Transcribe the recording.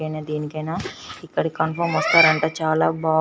ఇన దేనికైనా ఎకడి కన్ఫర్మ్ వస్తారంట చాలా బ --